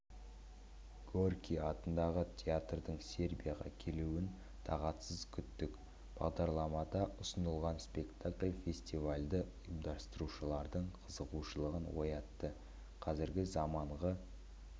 горький атындағы театрдың сербияға келуін тағатсыз күттік бағдарламада ұсынылған спектакль фестивальді ұйымдастырушылардың қызығушылығын оятты қазіргі заманғы